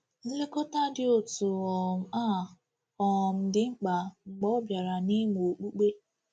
Nlekọta dị otu um a um dị mkpa mgbe ọ bịara n’ịmụ okpukpe.